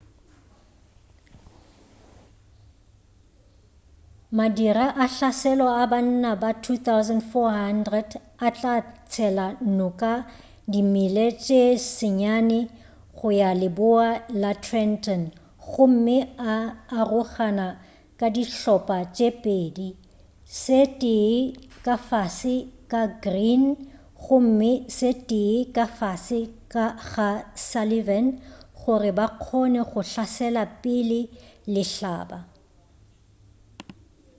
madira a hlaselo a banna ba 2,400 a tla tshela noka di mile tše senyane go ya leboa la trenton gomme a arogana ka dihlopa tše pedi se tee ka fase ga greene gomme se tee ka fase ga sullivan gore ba kgone go hlasela pele lehlaba